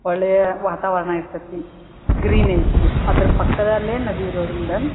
ಒಳ್ಳೆಯ ವಾತಾವರಣ ಇರತ್ತತಿ ಗ್ರೀನ್ ಐತಿ ಅದ್ರ ಪಕ್ಕದಲ್ಲೇ ನದಿ ಇರೋದ್ರಿಂದ --